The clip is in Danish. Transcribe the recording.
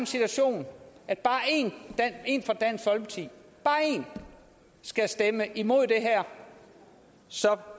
situation at bare én fra dansk folkeparti bare én skal stemme imod og så